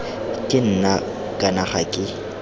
ke nna kana ga ke